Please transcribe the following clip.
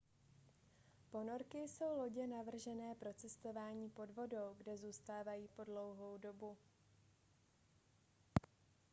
ponorky jsou lodě navržené pro cestování pod vodou kde zůstávají po dlouhou dobu